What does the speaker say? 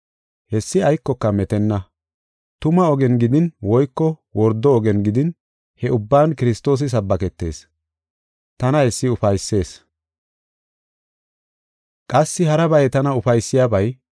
Hessi aykoka metenna. Tuma ogen gidin woyko wordo ogen gidin he ubban Kiristoosi sabbaketees. Tana hessi ufaysees. Qassi harabay tana ufaysiyabay,